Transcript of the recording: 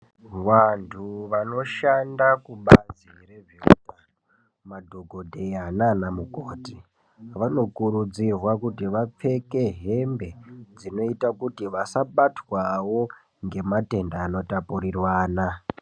Vantu vanoshanda kubazi rezveutano vakaita semadhokodheya naanamukoti vanokurudzirwa kuti vapfeke hembe dzinoita kuti vasabatwawo ngematenda anotapurirwana.